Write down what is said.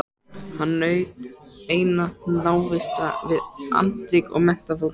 Hann naut einatt návista við andríkt og menntað fólk.